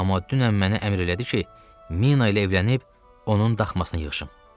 Amma dünən mənə əmr elədi ki, Mina ilə evlənib, onun daxmasını yığışım.